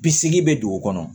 Bisegin bɛ dugu kɔnɔ